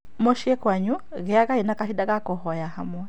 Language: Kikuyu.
Mũciĩ kwanyu gĩagai na kahinda ga kũhoya hamwe